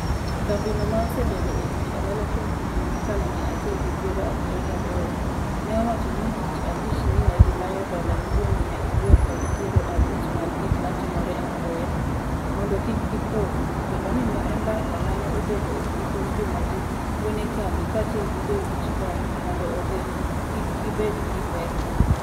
kambi no ma osebedo e tij ohala kuom higni makalo miya achiel gi piero abiriyo gi aboro, ne owacho tich abich ni negi manyo dola milion miya ariyo kod piero abich mag gik matimore apoya, mondo kik gipodhi, kendo ni ne e mbaka mane obedo e giko juma gi wuone kambi kachiel gi jochiw kony mondo ogeng' kik gibed gi pek.